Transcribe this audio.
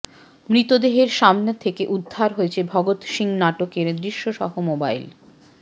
মৃতদেহের সামনে থেকে উদ্ধার হয়েছে ভগৎ সিং নাটকের দৃশ্য সহ মোবাইল